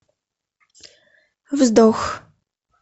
вздох